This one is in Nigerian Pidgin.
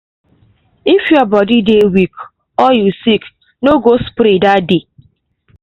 if your body dey weak or you sick no go spray that day.